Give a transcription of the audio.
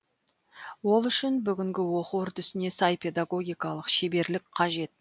ол үшін бүгінгі оқу үрдісіне сай педагогикалық шеберлік қажет